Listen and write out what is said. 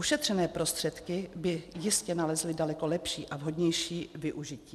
Ušetřené prostředky by jistě nalezly daleko lepší a vhodnější využití.